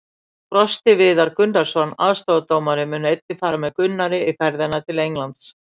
Frosti Viðar Gunnarsson, aðstoðardómari, mun einnig fara með Gunnari í ferðina til Englands.